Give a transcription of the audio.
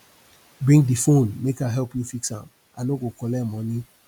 bring di fone make i help you fix am i no go collect moni